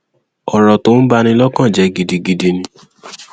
ọrọ tó ń bà ní lọkàn jẹ gidigidi ni